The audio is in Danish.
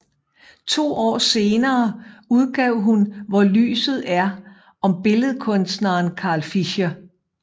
To år senere udgav hun Hvor lyset er om billedkunstneren Carl Fischer